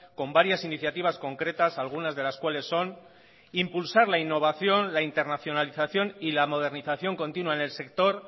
con varias iniciativas concretas algunas de las cuales son impulsar la innovación la internacionalización y la modernización continua en el sector